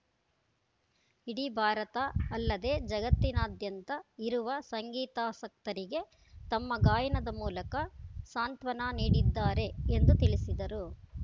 ಇಡಿ ಭಾರತ ಅಲ್ಲದೆ ಜಗತ್ತಿನಾದ್ಯಂತ ಇರುವ ಸಂಗೀತಾಸಕ್ತರಿಗೆ ತಮ್ಮ ಗಾಯನದ ಮೂಲಕ ಸಾಂತ್ವನ ನೀಡಿದ್ದಾರೆ ಎಂದು ತಿಳಿಸಿದರು